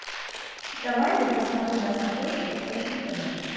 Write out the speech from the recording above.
давай я посмотрю на смотрешке фэшн тв